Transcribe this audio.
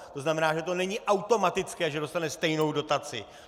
To znamená, že to není automatické, že dostane stejnou dotaci.